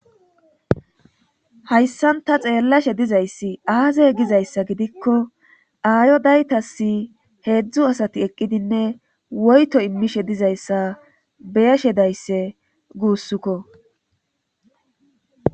hayssan ta xeellashe dizayssi aaze gizayssa gidiko aayodaytassi heedzdzu asati eqqidinne woyto immishe dizayssa be7ashe daysse gussukko.